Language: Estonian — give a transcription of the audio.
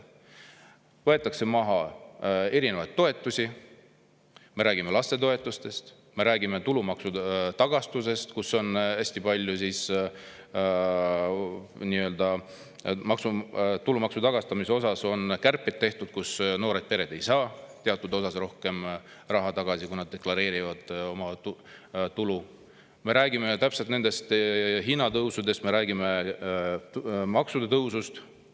Võetakse maha toetusi, me räägime lastetoetustest; me räägime tulumaksu tagastusest, kus on hästi palju kärpeid tehtud, noored pered ei saa teatud osas rohkem raha tagasi, kui nad deklareerivad oma tulu; me räägime hinnatõusudest ja me räägime maksude tõusust.